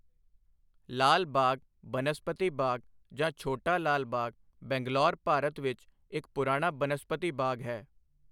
ਲਾਲ ਬਾਗ ਬਨਸਪਤੀ ਬਾਗ ਜਾਂ ਛੋਟਾ ਲਾਲ ਬਾਗ ਬੰਗਲੌਰ, ਭਾਰਤ ਵਿੱਚ ਇੱਕ ਪੁਰਾਣਾ ਬਨਸਪਤੀ ਬਾਗ ਹੈ।